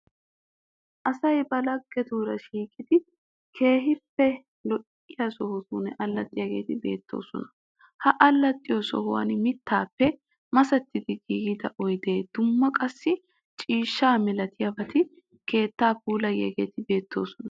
Asay ba laggetuura shiiqidi keehippe lo'iya sohuwan allaxxiyageeti beettoosona. Ha allaxxiyo sohuwan mittaappe masettidi giigida oyidee dumma qassi ciishshaa milatiyabati keettaa puulayiyageeti beettoosona.